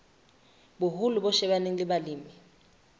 boholo bo shebaneng le balemi